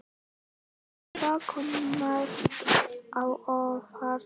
En hvað kom mest á óvart?